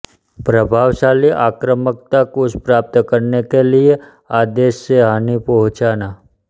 प्रभावशाली आक्रामकता कुछ प्राप्त करने के लिए आदेश से हानि पहुचाँना